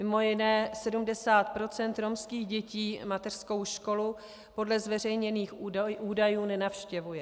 Mimo jiné 70 % romských dětí mateřskou školu podle zveřejněných údajů nenavštěvuje.